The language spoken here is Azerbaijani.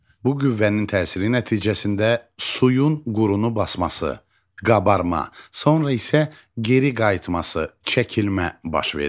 Bu qüvvənin təsiri nəticəsində suyun qurunu basması, qabarma, sonra isə geri qayıtması, çəkilmə baş verir.